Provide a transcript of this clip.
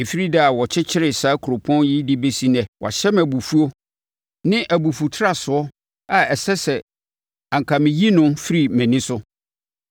Ɛfiri da a wɔkyekyeree saa kuropɔn yi de bɛsi ɛnnɛ, wahyɛ me abufuo ne abufutrasoɔ a ɛsɛ sɛ anka meyi no firi mʼani so.